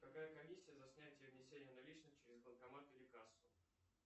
какая комиссия за снятие и внесение наличных через банкомат или кассу